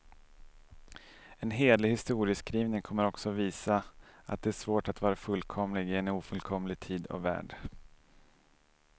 En hederlig historieskrivning kommer också visa, att det är svårt att vara fullkomlig i en ofullkomlig tid och värld.